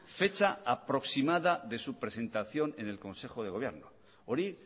fecha aproximada de su presentación en el consejo de gobierno hori